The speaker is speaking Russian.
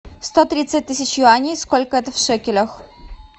сто тридцать тысяч юаней сколько это в шекелях